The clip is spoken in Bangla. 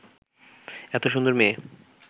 এত সুন্দর মেয়ে